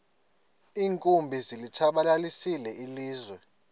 iinkumbi zilitshabalalisile ilizwe